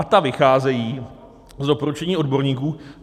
A ta vycházejí z doporučení odborníků.